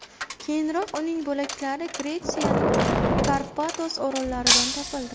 Keyinroq uning bo‘laklari Gretsiyaning Karpatos orollaridan topildi.